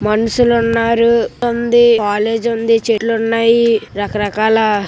మనుషుల ఉన్నారు ఆ స్కూల్ అదే కాలేజీ ఉందని చెట్లున్నట్టు రకరకాలు--